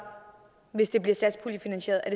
hvis det bliver satspuljefinansieret er